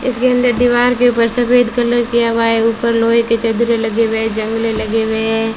इसके अंदर दीवार के ऊपर सफेद कलर किया हुआ है ऊपर लोहे की चदरें लगे हुए हैं जंगल लगे हुए हैं।